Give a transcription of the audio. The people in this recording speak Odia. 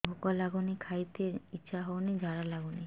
ଭୁକ ଲାଗୁନି ଖାଇତେ ଇଛା ହଉନି ଝାଡ଼ା ଲାଗୁନି